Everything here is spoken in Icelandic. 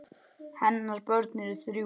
Hennar börn eru þrjú.